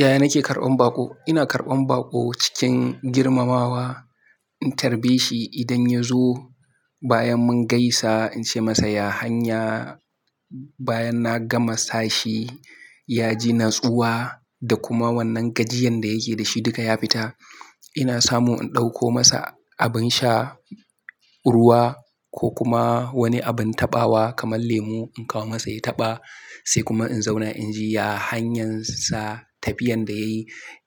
Yaya nake karɓan baƙo? Ina karɓan baƙo cikin girmamawa. In tarbe shi idan ya zo bayan mun gaisa in ce masa, "Ya hanya." Bayan na gama sashi, ya ji natsuwa da kuma wannan gajiyan da yake da shi duka ya fita. Ina samu in ɗauko masa abin sha, ruwa ko kuma wani abin taɓawa kamar lemu in kawo masa ya taɓa. Sai kuma in zauna inji, "Ya hanyan sa, tafiyan da yayi,